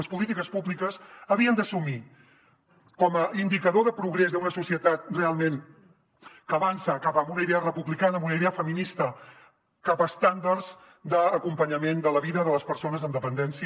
les polítiques públiques havien d’assumir com a indicador de progrés d’una societat realment que avança cap a una idea republicana cap a una idea feminista cap a estàndards d’acompanyament de la vida de les persones amb dependència